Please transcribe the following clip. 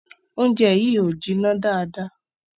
Oúnjẹ yìí o jìnnà dáadá